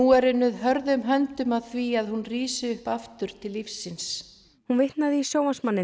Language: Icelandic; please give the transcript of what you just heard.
er unnið hörðum höndum að því að hún rísi upp aftur til lífsins hún vitnaði í